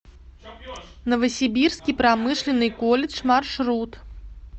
новосибирский промышленный колледж маршрут